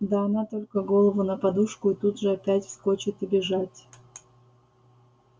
да она только голову на подушку и тут же опять вскочит и бежать